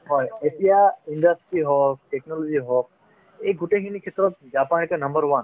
হয় এতিয়া industry হওক technology হওক এই গোটেইখিনি ক্ষেত্ৰত জাপান এতিয়া number one